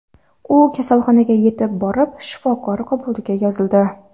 U kasalxonaga yetib borib, shifokor qabuliga yozildi.